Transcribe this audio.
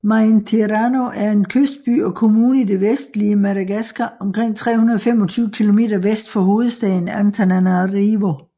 Maintirano er en kystby og kommune i det vestlige Madagaskar omkring 325 kilometer vest for hovedstaden Antananarivo